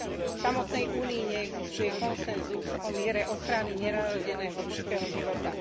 V samotnej Únii neexistuje konsenzus o miere ochrany nenarodeného ľudského života.